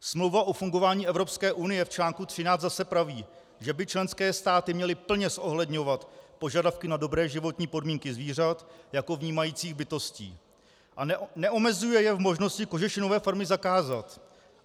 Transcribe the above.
Smlouva o fungování Evropské unie v článku 13 zase praví, že by členské státy měly plně zohledňovat požadavky na dobré životní podmínky zvířat jako vnímajících bytostí, a neomezuje je v možnosti kožešinové farmy zakázat.